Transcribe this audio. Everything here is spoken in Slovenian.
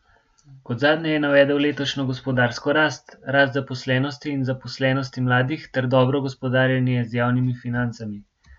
Kot zadnje je navedel, letošnjo gospodarsko rast, rast zaposlenosti in zaposlenosti mladih ter dobro gospodarjenje z javnimi financami.